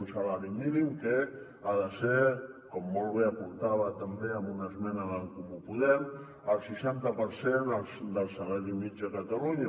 un salari mí·nim que ha de ser com molt bé apuntava també amb una esmena d’en comú po·dem el seixanta per cent del salari mitjà a catalunya